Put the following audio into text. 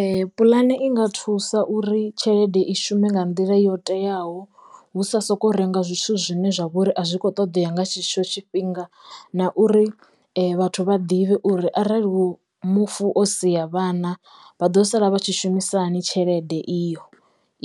Ee pulane i nga thusa uri tshelede i shume nga nḓila yo teyaho hu sa soko renga zwithu zwine zwa vhori a zwi kho ṱoḓea nga tshetsho tshifhinga na uri vhathu vha ḓivhe uri arali mufu o siya vhana vha ḓo sala vha tshi shumisa hani tshelede iyo